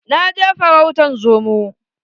Na je farautan zomo